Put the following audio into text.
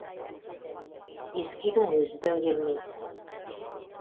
ескі үйдің өзі де келмейді